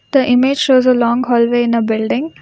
The image shows a long hallway in a building.